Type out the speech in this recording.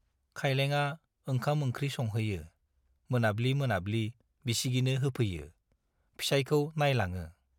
खाइलेंआ ओंखाम-ओंख्रि संहैयो, मोनाब्लि मोनाब्लि बिसिगिनो होफैयो, फिसाइखौ नाइलाङो।